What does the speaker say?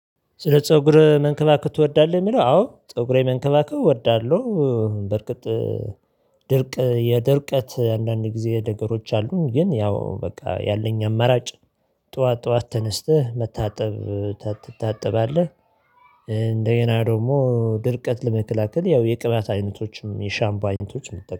ስለ ፀጉርህ መንከባከብ ትወዳለህ? የሚለው አዎ ፀጉሬ መንከባከብ እወዳለሁ በእርግጥ። ድርቅ የድርቀት አንዳንድ ጊዜ ነገሮች አሉ። ግን ያው በቃ ያለኝ አማራጭ ጠዋት ጠዋት ተነስተህ መታጠብ ትታጠባለህ። እንደገና ደግሞ ድርቀት ለመከላከል ያው የቅባት አይነቶችም የሻምፖ አይነቶችም